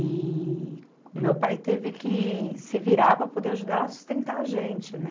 E o meu pai teve que se virar para poder ajudar a sustentar a gente, né?